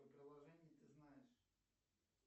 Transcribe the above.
приложения ты знаешь